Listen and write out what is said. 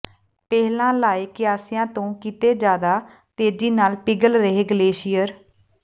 ਪਹਿਲਾਂ ਲਾਏ ਕਿਆਸਾਂ ਤੋਂ ਕਿਤੇ ਜ਼ਿਆਦਾ ਤੇਜ਼ੀ ਨਾਲ ਪਿਘਲ ਰਿਹੈ ਗਲੇਸ਼ੀਅਰ